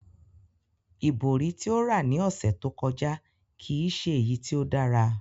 Ibori ti o ra ni ọsẹ to kọja kii ṣe eyi ti o dara.